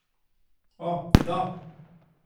O, da!